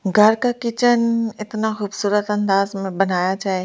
घर का किचन इतना खूबसूरत अंदाज़ में बनाया जाए --